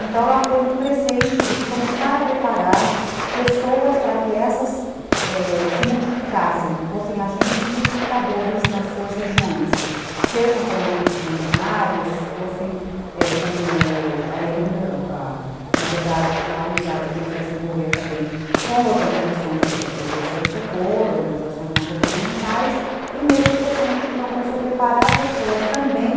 Então, lá foi num crescente de começar a preparar pessoas para que essas se multiplicassem, fossem agentes multiplicadores nas suas regiões, sejam como agentes comunitários, fossem, é... como... Na verdade, a unidade começou a se envolver também com organizações do terceiro setor, organizações não governamentais, e nesse crescente, então, começou a preparar pessoas também